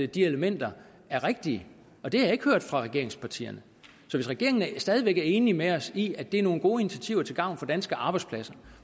de elementer er rigtige og det har jeg ikke hørt fra regeringspartierne så hvis regeringen stadig væk er enig med os i at det er nogle gode initiativer til gavn for danske arbejdspladser